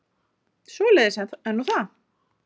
Svoleiðis er nú það.